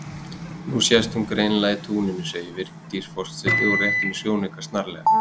Nú sést hún greinilega í túninu segir Vigdís forseti og réttir mér sjónaukann snarlega.